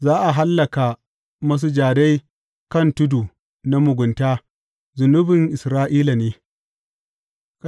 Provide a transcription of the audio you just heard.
Za a hallaka masujadai kan tudu na mugunta zunubin Isra’ila ne.